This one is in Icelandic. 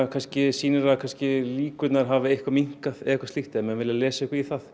sýnir að líkurnar hafa minnkað ef menn vilja lesa eitthvað í það